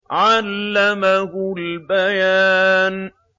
عَلَّمَهُ الْبَيَانَ